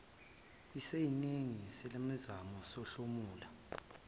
esiningi salemizamo sihlomula